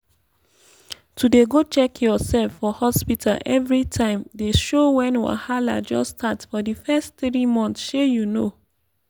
to dey go check yoursef for hospta everi time dey show wen wahala just start for di fess tiri months shey you know